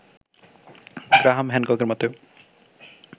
Graham হ্যানককের মতে